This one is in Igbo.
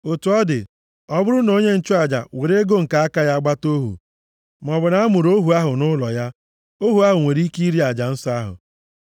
Otu ọ dị, ọ bụrụ na onye nchụaja weere ego nke aka ya gbata ohu, maọbụ na a mụrụ ohu ahụ nʼụlọ ya, ohu ahụ nwere ike iri aja nsọ ahụ.